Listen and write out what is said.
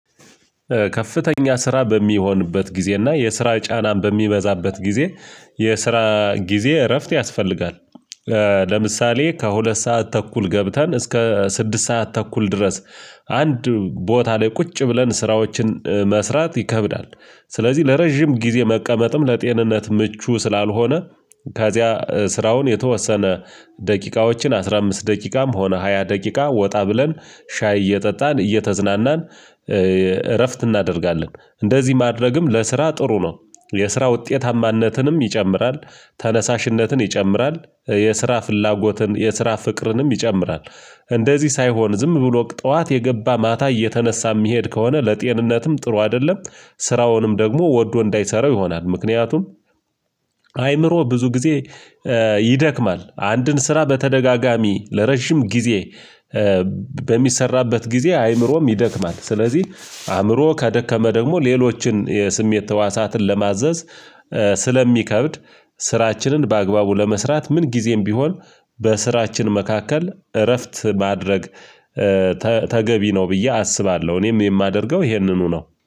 ከፍተኛ ስራ በሚሆንበት ጊዜ እና የስራ ጫናም በሚበዛበት ጊዜ የስራ ጊዜ እረፍት ያስፈልጋል። ለምሳሌ ከሁለት ሰዓት ተኩል ገብተን እስከ ስድስት ሰዓት ተኩል ድረስ አንድ ቦታ ላይ ቁጭ ብለን ስራዎችን መስራት ይከብዳል። ስለዚህ ለረጅም ጊዜ መቀመጥም ለጤንነት ምቹ ስላልሆነ ከዚያ ስራውን የተወሰነ ደቂቃዎችን አስራ አምስት ደቂቃም ሆነ ሃያ ደቂቃ ወጣ ብለን ሻይ እየጠጣን እየተዝናናን እረፍት እናደርጋለን። እንደዚህ ማድረግም ለስራ ጥሩ ነው። የስራ ውጤታማነትንም ይጨምራል ተነሳሽነትን ይጨምራል የስራ ፍላጎትን የስራ ፍቅርንም ይጨምራል። እንደዚህ ሳይሆን ዝም ብሎ ጠዋት የገባ ማታ እየተነሳ የሚሄድ ከሆነ ለጤንነትም ጥሩ አይደለም። ስራውንም ደግሞ ወዶ እንዳይሰራው ይሆናል። ምክንያቱም አይምሮ ብዙ ጊዜ ይደክማል አንድን ስራ በተደጋጋሚ ለረጅም ጊዜ በሚሰራበት ጊዜ አይምሮም ይደክማል። ስለዚህ አይምሮ ከደከመ ደግሞ ሌሎችን የስሜት ተዋሳትን ለማዘዝ ስለሚከብድ ስራችንን በአግባቡ ለመስራት ምን ጊዜም ቢሆን በስራችን መካከል እረፍት ማድረግ ተገቢ ነው ብዬ አስባለሁ። እኔም የማደርገው ይሄንኑ ነው